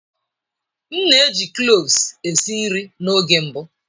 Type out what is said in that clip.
M na-eji cloves esi nri n'oge mbụ.